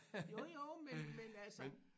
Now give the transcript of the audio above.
Jo jo men men altså